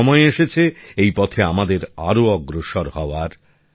এখন সময় এসেছে এই পথে আমাদের আরও অগ্রসর হওয়ার